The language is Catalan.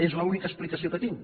és l’única explicació que tinc